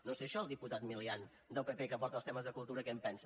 no sé d’això el diputat milián del pp que porta els temes de cultura què en pensa